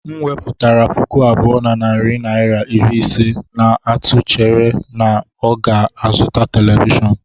M wepụtara puku abụọ na narị naira iri ise, na-atụ chere na ọ ga-azụta telivishọn.